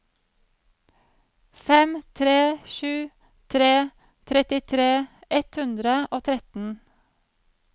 fem tre sju tre trettitre ett hundre og tretten